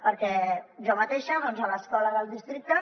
perquè jo mateixa a l’escola del districte